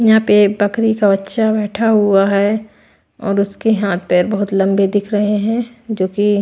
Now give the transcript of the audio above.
यहां पे बकरी का बच्चा बैठा हुआ है और उसके हाथ पैर बहुत लंबे दिख रहे हैं जो कि--